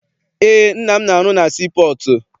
Eé, nna m na arụ na sii pọọtụ.